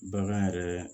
Bagan yɛrɛ